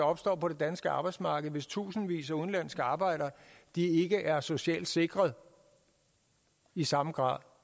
opstår på det danske arbejdsmarked hvis tusindvis af udenlandske arbejdere ikke er socialt sikret i samme grad